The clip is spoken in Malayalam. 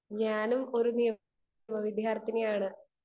സ്പീക്കർ 2 ഞാനും ഒരു നിയമ വിദ്യാർത്ഥിനിയാണ് .